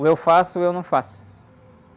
Ou eu faço ou eu não faço.